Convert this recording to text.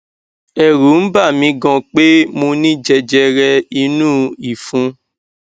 ẹrù n bà mi gan pé mo ní jẹjẹrẹ inú ìfun